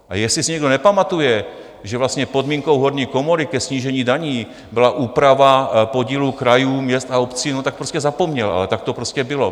A jestli si někdo nepamatuje, že vlastně podmínkou horní komory ke snížení daní byla úprava podílu krajů, měst a obcí, no tak prostě zapomněl, ale tak to prostě bylo.